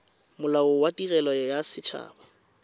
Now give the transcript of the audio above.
molao wa tirelo ya set